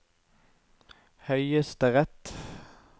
høyesterett